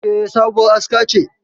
E, sabuwar aska ce.